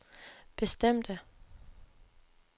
bestemte